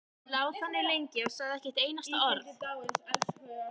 Lá þannig lengi og sagði ekki eitt einasta orð.